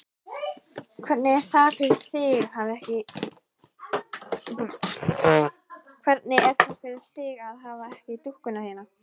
Hvernig er það fyrir þig að hafa ekki dúkkuna þína?